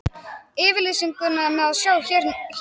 Yfirlýsinguna má sjá hér að neðan.